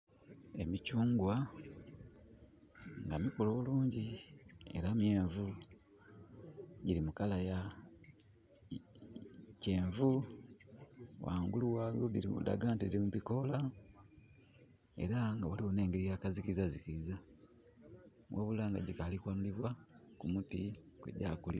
Emikyungwa nga mikulu bulungi era myenvu gilri mu color ya kyenvu ghangulu ghagho dhilaga nti dhiri mubikola era nga ghaligho nengeri yakazikiza zikiza ghabula nga dhikali kughanulibwa kumuti kwegyakulira.